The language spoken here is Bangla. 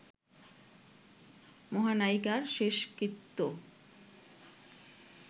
মহানায়িকার শেষকৃত্য